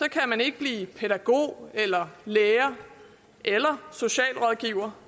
kan man ikke blive pædagog eller lærer eller socialrådgiver